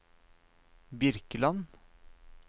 Birkeland